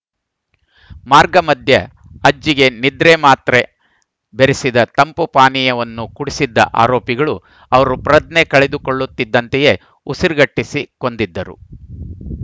ಮಾರ್ಗ ಮಧ್ಯೆ ಅಜ್ಜಿಗೆ ನಿದ್ರೆ ಮಾತ್ರೆ ಬೆರೆಸಿದ ತಂಪು ಪಾನೀಯವನ್ನು ಕುಡಿಸಿದ್ದ ಆರೋಪಿಗಳು ಅವರು ಪ್ರಜ್ಞೆ ಕಳೆದುಕೊಳ್ಳುತ್ತಿದ್ದಂತೆಯೇ ಉಸಿರುಗಟ್ಟಿಸಿ ಕೊಂದಿದ್ದರು